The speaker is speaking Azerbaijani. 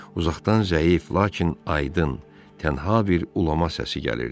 Uzaqdan zəif, lakin aydın, tənha bir ulama səsi gəlirdi.